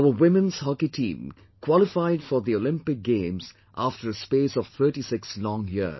Our Women's Hockey Team qualified for the Olympic Games after a space of 36 long years